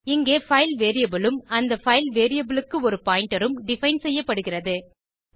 இங்கே file variable உம் அந்த பைல் variableக்கு ஒரு பாயிண்டர் உம் டிஃபைன் செய்யப்படுகிறது